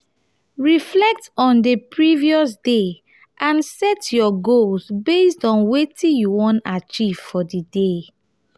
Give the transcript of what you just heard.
reflect on di previous day and set your goals based on wetin you wan achieve for di day